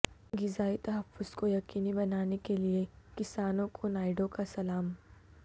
غذائی تحفظ کو یقینی بنانے کے لئے کسانوں کو نائیڈو کا سلام